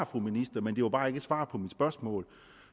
fra ministeren men det var bare ikke et svar på mit spørgsmål